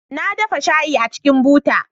Na dafa shayi a cikin buta